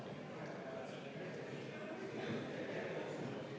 Ma väga vabandan, kui ma valesti ütlesin.